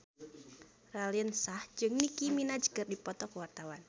Raline Shah jeung Nicky Minaj keur dipoto ku wartawan